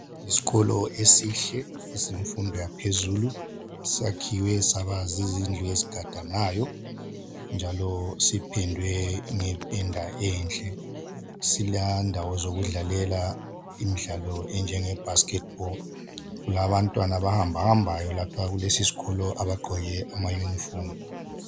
Isikolo esihle esemfundo yaphezulu sakhiwe saba zizindlu ezigadanayo njalo sipendwe ngependa enhle silendawo zokudlalela imidlalo enjenge basket ball kulabantwana abahambahambayo lapha kulesi sikolo abagqoke amayunifomu.